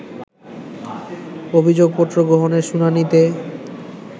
অভিযোগপত্র গ্রহণের শুনানিতে